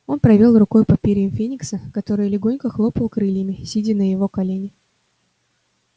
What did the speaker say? он провёл рукой по перьям феникса который легонько хлопал крыльями сидя на его колене